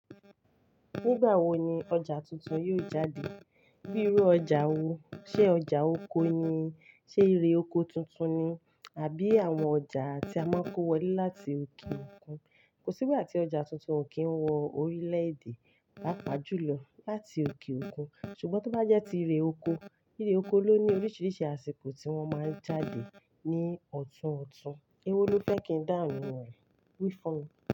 Nígbà wo ni ọjà tuntun yóò jáde? Bí irú ọjà wo, ṣe ọjà oko ni, ṣe ire oko tuntun ni, àbí àwọn ọjà tí a máa ń kó wọlé láti òkè òkun? Kò sí ìgbàtí ọjà tuntun ò kí ń wọ orílẹ̀-èdè pàápàá jù lọ láti òkè òkun. Ṣùgbọ́n tó bá jẹ́ ti ire oko, ire oko ló ní oríṣiríṣi àsìkò tí wọ́n máa ń jáde ní ọ̀tún ọ̀tún. Ewó ló fẹ́ kí n dáhùn rẹ̀, wí fún mi.